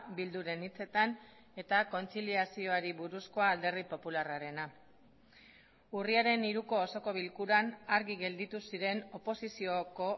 bilduren hitzetan eta kontziliazioari buruzkoa alderdi popularrarena urriaren hiruko osoko bilkuran argi gelditu ziren oposizioko